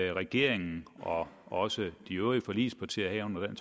at regeringen og også de øvrige forligspartier herunder